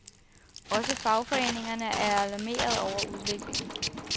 Også fagforeningerne er alarmeret over udviklingen.